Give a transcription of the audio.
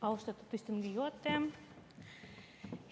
Austatud istungi juhataja!